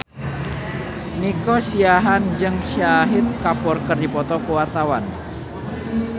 Nico Siahaan jeung Shahid Kapoor keur dipoto ku wartawan